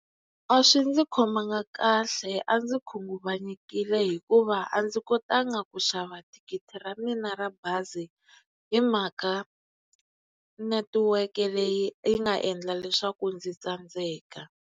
A swi ndzi khomanga kahle a ndzi khunguvanyekile hikuva a ndzi kotanga ku xava thikithi ra mina ra bazi hi mhaka netiweke leyi yi nga endla leswaku ndzi tsandzeka.